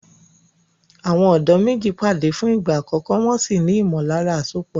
Àwọn ọ̀dọ́ méjì pàdé fún ìgbà àkọ́kọ́, wọn sì ní ìmọ̀lára àsopọ̀ lọ́gán.